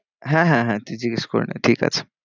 হ্যাঁ, হ্যাঁ, হ্যাঁ তুই জিগেস করে নে ঠিক আছে।